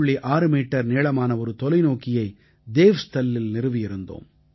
6 metre நீளமான ஒரு தொலைநோக்கியை தேவ்ஸ்தல்லில் நிறுவியிருக்கிறோம்